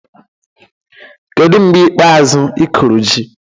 Kedu mgbe ikpeazụ ị kụrụ ji?